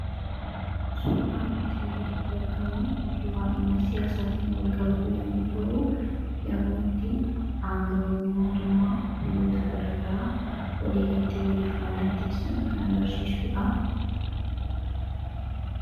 Suuraan asiin gaditti argamu, suuraa dhimma siyaasaatiin walqabatu yemmuu ta'u, yemmuu itti aanga'oonni mootummaa biyyoota garaagaraa waliigaltee waliif mallatteessan kan agarsiisudha.